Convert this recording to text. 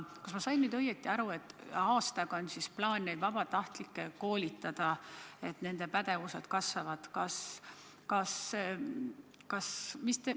Kas ma sain nüüd õigesti aru, et on plaan aastaga vabatahtlikke koolitada, et nende pädevus kasvaks?